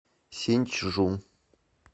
синьчжу